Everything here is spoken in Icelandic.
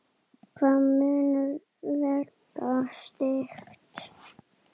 Hvað mun vega þyngst?